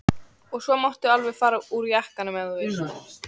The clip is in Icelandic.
Og svo máttu alveg fara úr jakkanum ef þú vilt.